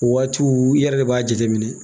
O waatiw i yɛrɛ de b'a jateminɛ